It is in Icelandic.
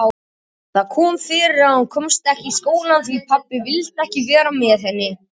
Það kom fyrir að hún komst ekki í skólann því pabbi vildi vera með henni.